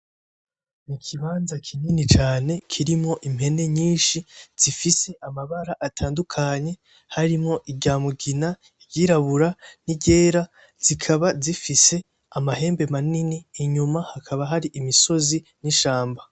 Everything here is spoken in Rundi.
Ikibanza kinini cane kirimwo impene nyinshi zifise amabara atandukanye harimwo iry'amugina, iry'irabura n'iryera zikaba zifise amahembe manini inyuma hakaba hari imisozi n'ishamba.